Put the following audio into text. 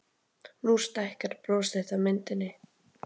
Nú stækkar bros þitt á myndinni.